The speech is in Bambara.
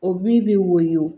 O min bɛ woyɔ